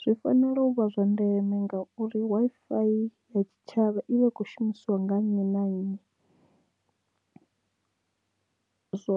Zwi fanela u vha zwa ndeme ngauri Wi-Fi ya tshitshavha i vha i kho shumisiwa nga nnyi na nnyi zwo